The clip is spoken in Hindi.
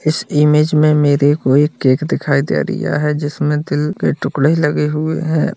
इस इमेज मे मेरे को एक केक दिखाई दे रिया है जिसमे दिल के टुकड़े लगे हुये है।